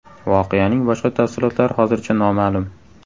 Voqeaning boshqa tafsilotlari hozircha noma’lum.